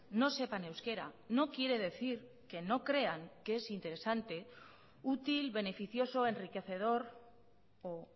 no sepan euskera no quiere decir que no crean que es interesante útil beneficioso enriquecedor o